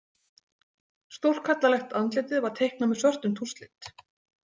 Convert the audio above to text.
Stórkallalegt andlitið var teiknað með svörtum tússlit.